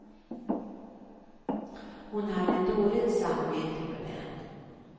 Hon hade dåligt samvete för den.